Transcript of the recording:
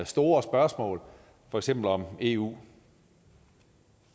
store spørgsmål for eksempel om eu